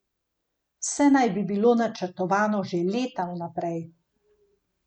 Vse naj bi bilo načrtovano že leta vnaprej.